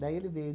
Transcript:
Daí ele veio.